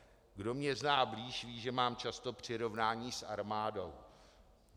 Kdo mě zná blíž, ví, že mám často přirovnání s armádou.